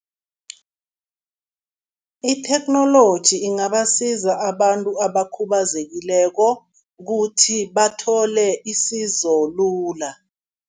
Itheknoloji ingabasiza abantu abakhubazekileko ukuthi bathole isizo lula.